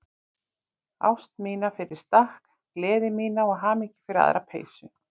Ást mína fyrir stakk, gleði mína og hamingju fyrir aðra peysu.